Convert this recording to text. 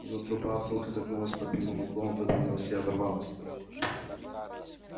но труба вдруг изогнулась под прямым углом выпрямилась и оборвалась